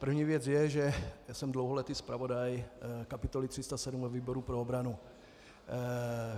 První věc je, že já jsem dlouholetý zpravodaj kapitoly 307 ve výboru pro obranu.